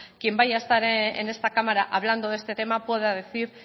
quien vaya a esta en esta cámara hablando de este tema pueda decir